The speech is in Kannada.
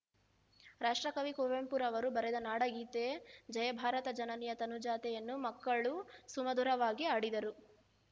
ರಾಷ್ಟ್ರಕವಿ ಕುವೆಂಪುರವರು ಬರೆದ ನಾಡಗೀತೆ ಜಯ ಭಾರತ ಜನನಿಯ ತನುಜಾತೆ ಯನ್ನು ಮಕ್ಕಳು ಸುಮಧುರವಾಗಿ ಹಾಡಿದರು